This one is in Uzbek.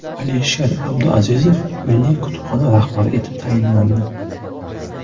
Alisher Abduazizov Milliy kutubxona rahbari etib tayinlandi.